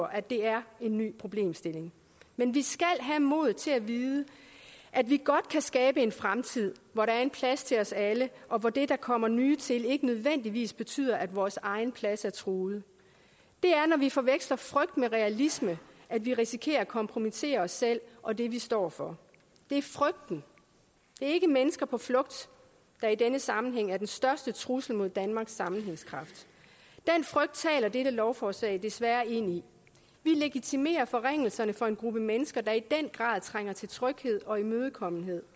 at det er en ny problemstilling men vi skal have modet til at vide at vi godt kan skabe en fremtid hvor der er en plads til os alle og hvor det at der kommer nye til ikke nødvendigvis betyder at vores egen plads er truet det er når vi forveksler frygt med realisme at vi risikerer at kompromittere os selv og det vi står for det er frygten ikke mennesker på flugt der i denne sammenhæng er den største trussel mod danmarks sammenhængskraft den frygt taler dette lovforslag desværre ind i vi legitimerer forringelserne for en gruppe mennesker der i den grad trænger til tryghed og imødekommenhed